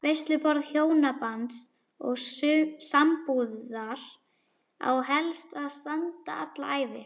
Veisluborð hjónabands og sambúðar á helst að standa alla ævi.